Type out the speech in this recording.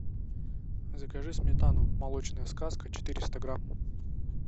закажи сметану молочная сказка четыреста грамм